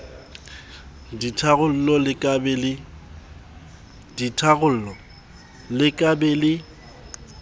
ditharollo le ka be le